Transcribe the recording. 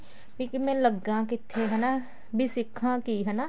ਵੀ ਲੱਗਾ ਕਿੱਥੇ ਹਨਾ ਵੀ ਸਿੱਖਾ ਕੀ ਹਨਾ